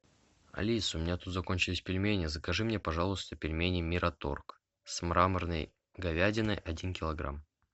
алиса у меня тут закончились пельмени закажи мне пожалуйста пельмени мираторг с мраморной говядиной один килограмм